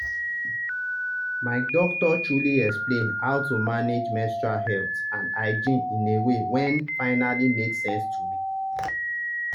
my doctor truly explain how to manage menstrual health and hygiene in a way wen finally make sense to me.